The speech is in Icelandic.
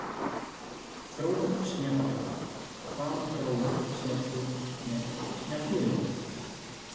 Þróun snjallúra Hvaða þróun sérðu með snjallúrin?